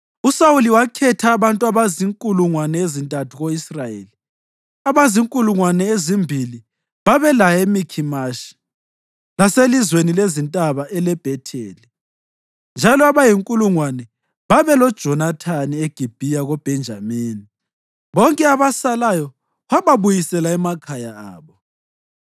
USawuli wakhetha abantu abazinkulungwane ezintathu ko-Israyeli; abazinkulungwane ezimbili babelaye eMikhimashi laselizweni lezintaba eleBhetheli, njalo abayinkulungwane babeloJonathani eGibhiya koBhenjamini. Bonke abasalayo wababuyisela emakhaya abo.